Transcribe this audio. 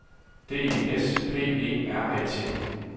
D E S P E R A T